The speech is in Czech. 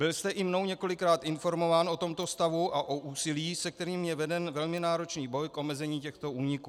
Byl jste i mnou několikrát informován o tomto stavu a o úsilí, se kterým je veden velmi náročný boj k omezení těchto úniků.